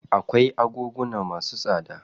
Akwai agoguna masu tsada.